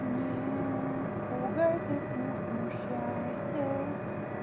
не пугайтесь не смущайтесь